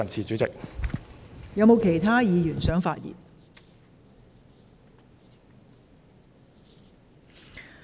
是否有其他議員想發言？